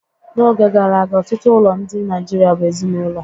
N'oge gara aga, ọtụtụ ụlọ ndị Nigeria bụ ezinaụlọ